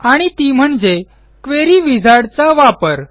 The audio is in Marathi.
आणि ती म्हणजे क्वेरी Wizardचा वापर